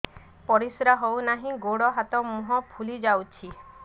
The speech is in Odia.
ପରିସ୍ରା ହଉ ନାହିଁ ଗୋଡ଼ ହାତ ମୁହଁ ଫୁଲି ଯାଉଛି